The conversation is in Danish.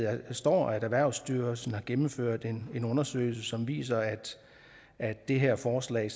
står at erhvervsstyrelsen har gennemført en undersøgelse som viser at det her forslag